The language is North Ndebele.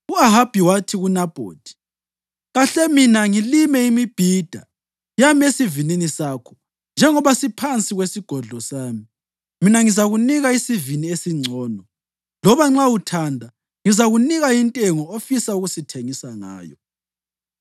U-Ahabi wathi kuNabhothi, “Kahle mina ngilime imibhida yami esivinini sakho, njengoba siphansi kwesigodlo sami. Mina ngizakunika isivini esingcono, loba nxa uthanda, ngizakunika intengo ofisa ukusithengisa ngayo.”